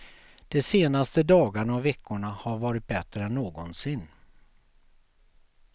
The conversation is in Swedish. De senaste dagarna och veckorna har varit bättre än någonsin.